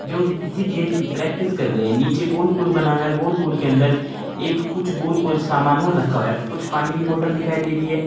जो कि किसी गेम की प्रैक्टिस कर रहे हैं नीचे गोल गोल बना हुआ है गोल गोल के अंदर एक कुछ गोल गोल सामान और रखा हुआ है कुछ पानी की बॉटल दिखाई दे रही है।